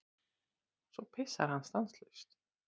Svo pissar hann stanslaust.